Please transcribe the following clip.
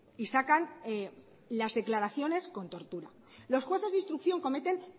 y sacan las declaraciones con tortura los jueces de instrucción cometen